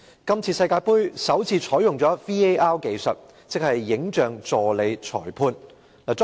這次世界盃首次採用 "VAR" 技術，即"影像助理裁判"。